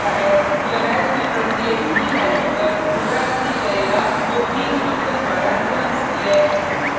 यह हैश की प्रत्येक की/वैल्यू पर पुनरावृति करेगा जो each फंक्शन द्वारा रिटर्न होती है